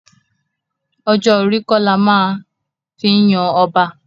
Ọjọ́ orí kọ́ la máa fi yan ọba.